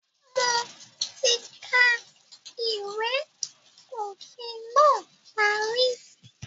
Mo ti ka ìwé òfin náà parí